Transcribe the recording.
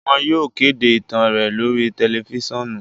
Wọn yóò kede itan rẹ lori tẹlifisiọnu